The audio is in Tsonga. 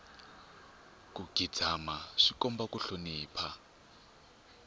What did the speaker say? ku khidzama swi komba ku hlonipha